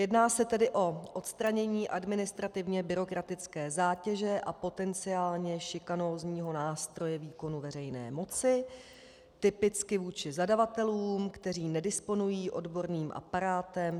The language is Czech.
Jedná se tedy o odstranění administrativně byrokratické zátěže a potenciálně šikanózního nástroje výkonu veřejné moci typicky vůči zadavatelům, kteří nedisponují odborným aparátem.